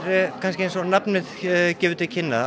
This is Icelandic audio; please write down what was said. eins og nafnið gefur til kynna